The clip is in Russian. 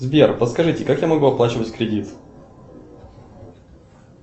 сбер подскажите как я могу оплачивать кредит